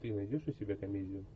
ты найдешь у себя комедию